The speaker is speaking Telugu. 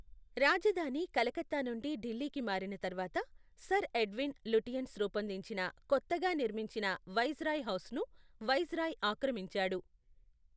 రాజధాని కలకత్తా నుండి ఢిల్లీకి మారిన తర్వాత, సర్ ఎడ్విన్ లుటియన్స్ రూపొందించిన కొత్తగా నిర్మించిన వైస్రాయ్ హౌస్ను వైస్రాయ్ ఆక్రమించాడు.